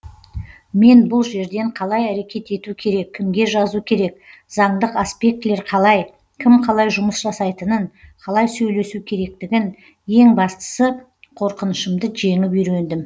мен бұл жерден қалай әрекет ету керек кімге жазу керек заңдық аспектілер қалай кім қалай жұмыс жасайтынын қалай сөйлесу керектігін ең бастысы қорқынышымды жеңіп үйрендім